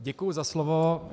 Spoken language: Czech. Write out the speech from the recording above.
Děkuji za slovo.